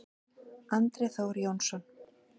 Andri Þór Jónsson